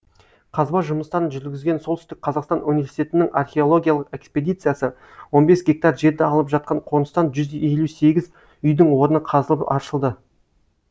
қазба жұмыстарын жүргізген солтүстік қазақстан университетінің археологиялық экспедициясы он бес гектар жерді алып жатқан қоныстан жүз елу сегіз үйдің орны қазылып аршылды